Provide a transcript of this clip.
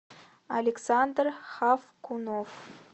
александр хавкунов